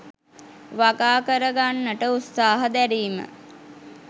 වගා කරගන්නට උත්සාහ දැරීම